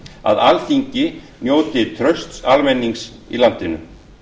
að alþingi njóti trausts almennings í landinu